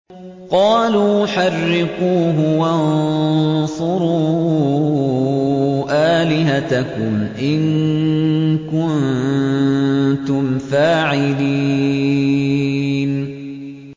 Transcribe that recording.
قَالُوا حَرِّقُوهُ وَانصُرُوا آلِهَتَكُمْ إِن كُنتُمْ فَاعِلِينَ